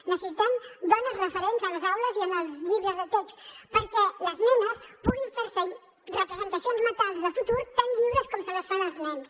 necessitem dones referents a les aules i en els llibres de text perquè les nenes puguin fer se representacions mentals de futur tan lliures com se les fan els nens